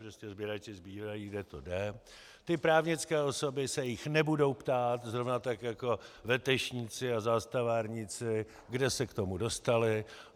Prostě sběrači sbírají, kde to jde, ty právnické osoby se jich nebudou ptát, zrovna tak jako vetešníci a zastavárníci, kde se k tomu dostali.